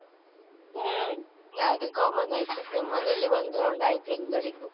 ಹ್ಮ್, ಅದು common ಆಯ್ತು, ನಮ್ ಮನೆಯಲ್ಲಿ ಒಂದು round ಆಯ್ತು ಎಲ್ಲರಿಗೂ.